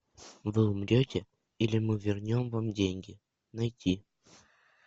вы умрете или мы вернем вам деньги найти